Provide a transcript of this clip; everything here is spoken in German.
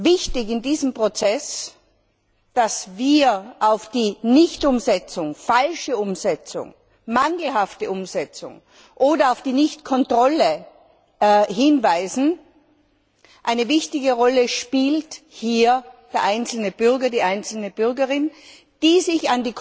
Wichtig ist in diesem Prozess, dass wir auf die Nichtumsetzung, falsche Umsetzung, mangelhafte Umsetzung oder auf die Nichtkontrolle hinweisen. Eine wichtige Rolle spielt hier der einzelne Bürger, die einzelne Bürgerin, die sich